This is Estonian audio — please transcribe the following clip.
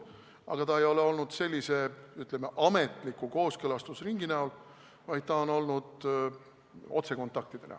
Aga see ei ole olnud, ütleme, ametliku kooskõlastusringi kujul, vaid see on olnud otsekontaktidena.